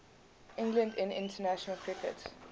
england in international cricket